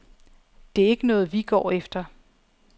Det er ikke noget, vi går efter.